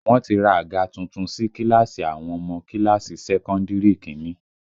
Wọ́n ti ra àga tuntun sí kíláàsì àwọn ọmọ kíláàsì sẹ́kọ́ndìrì Kínní